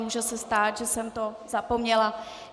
Může se stát, že jsem to zapomněla.